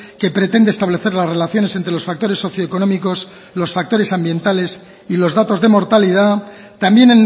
que pretende establecer las relaciones entre los factores socioeconómicos los factores ambientales y los datos de mortalidad también